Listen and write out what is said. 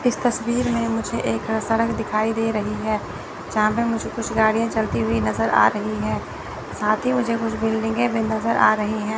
इस तस्वीर में मुझे एक सड़क दिखाई दे रही है जहां पे मुझे कुछ गाड़ियां चलती हुई नज़र आ रही है साथ ही मुझे कुछ बिल्डिंगे भी नज़र आ रही है।